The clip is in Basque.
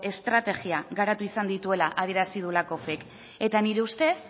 estrategia garatu izan dituela adierazi du lakoffek eta nire ustez